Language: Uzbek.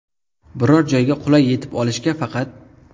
Biror joyga qulay yetib olishga faqat.